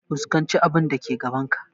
Fuskanci abun da ke gaban ka!